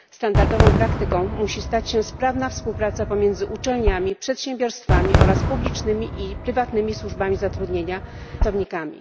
Standardową praktyką musi stać się sprawna współpraca pomiędzy uczelniami, przedsiębiorstwami oraz publicznymi i prywatnymi służbami zatrudnienia, a także samymi pracownikami.